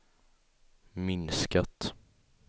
minskat